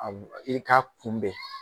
Aw i k'a kunbɛ